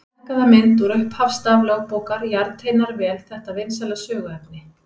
Þessi stækkaða mynd úr upphafsstaf lögbókar jarteinar vel þetta vinsæla söguefni.